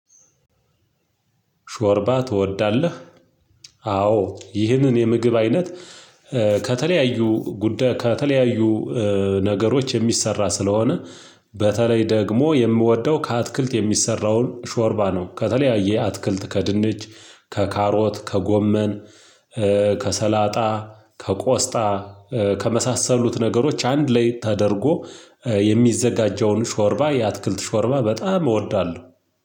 ሾርባ ትወዳለህ? አዎ ይህንን የምግብ አይነት ከተለያዩ ጉዳይ ከተለያዩ ነገሮች የሚሰራ ስለሆነ በተለይ ደግሞ የምወደው ከአትክልት የሚሰራውን ሾርባ ነው። ከተለያየ አትክልት ከድንች፣ ከካሮት፣ ከጎመን፣ ከሰላጣ፣ ከቆስጣ ከመሳሰሉት ነገሮች አንድ ላይ ተደርጎ የሚዘጋጀውን ሾርባ የአትክልት ሾርባ በጣም እወዳለሁ።